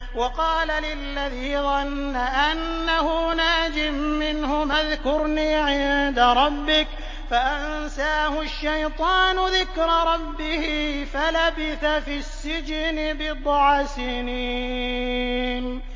وَقَالَ لِلَّذِي ظَنَّ أَنَّهُ نَاجٍ مِّنْهُمَا اذْكُرْنِي عِندَ رَبِّكَ فَأَنسَاهُ الشَّيْطَانُ ذِكْرَ رَبِّهِ فَلَبِثَ فِي السِّجْنِ بِضْعَ سِنِينَ